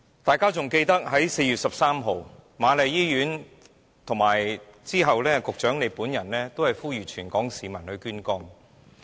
大家還記得在4月13日，瑪麗醫院和及後局長本人也呼籲全港市民捐肝。